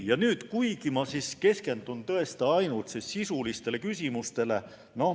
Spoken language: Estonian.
Ma keskendun ainult sisulistele küsimustele.